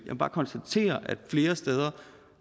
må bare konstatere at flere steder